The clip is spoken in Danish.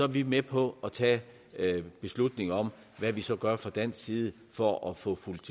vi med på at tage beslutning om hvad man så gør fra dansk side for at få fulgt